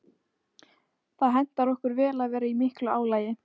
Það hentar okkur vel að vera í miklu álagi.